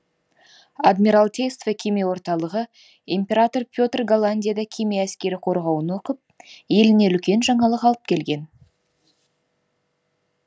адмиралтейство кеме орталығы император петр голландияда кеме әскері қорғауын оқып еліне үлкен жаңалық алып келген